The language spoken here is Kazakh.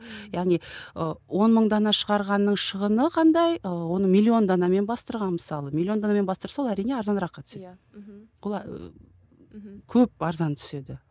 яғни ы он мың дана шығарғанның шығыны қандай ы оны миллион данамен бастырған мысалы миллион данамен бастырса ол әрине арзаныраққа түседі иә мхм көп арзан түседі